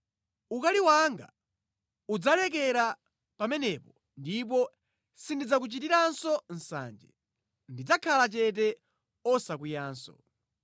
Ukali wanga udzalekera pamenepo ndipo sindidzakuchitiranso nsanje. Ndidzakhala chete osakwiyanso.